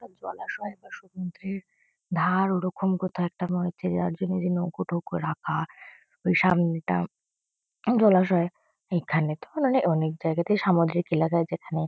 এটা জলাশয় বা সমুদ্রের ধার ওরকম কোথাও একটা মনে হচ্ছে যার জন্য এই যে নৌকো-ঠৌক রাখা। ওই সামনেটা জলাশয়। এখানে তো মানে অনেক জায়গাতেই সামুদ্রিক এলাকা যেখানে--